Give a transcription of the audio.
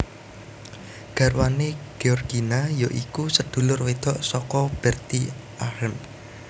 Garwane Georgina ya iku sedulur wedok saka Bertie Ahern